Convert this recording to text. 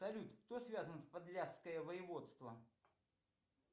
салют кто связан с подляское воеводство